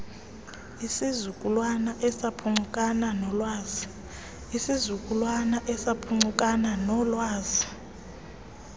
isizukulwana esaphuncukana noolwazi